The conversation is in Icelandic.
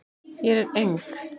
Hér er eng